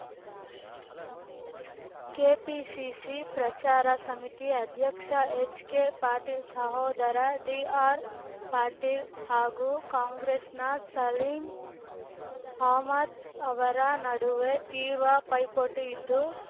KPCC ಪ್ರಚಾರ ಸಮಿತಿ ಅಧ್ಯಕ್ಷ ಎಚ್ಕೆಪಾಟೀಲ್ ಸಹೋದರ ಡಿಆರ್ಪಾಟೀಲ್ ಹಾಗೂ ಕಾಂಗ್ರೆಸ್‌ನ ಸಲೀಂ ಅಹ್ಮದ ಅವರ ನಡುವೆ ತೀರ್ವ ಪೈಪೋಟಿ ಇದ್ದು